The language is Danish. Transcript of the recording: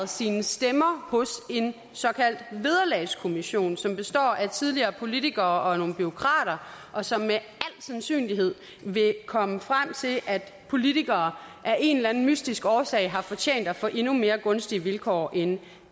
sine stemmer hos en såkaldt vederlagskommission som består af tidligere politikere og nogle bureaukrater og som med al sandsynlighed vil komme frem til at politikere af en eller anden mystisk årsag har fortjent at få endnu mere gunstige vilkår end